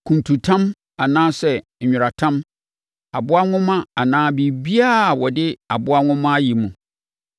kuntutam anaa nweratam, aboa nhoma anaa biribiara a wɔde aboa nwoma ayɛ mu,